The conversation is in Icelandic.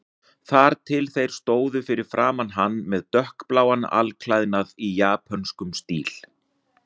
Þar til þeir stóðu fyrir framan hann með dökkbláan alklæðnað í japönskum stíl.